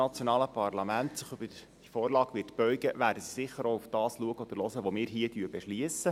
Wenn das nationale Parlament sich über die Vorlage beugt, wird es sicher auch darauf schauen und hören, was wir hier beschliessen.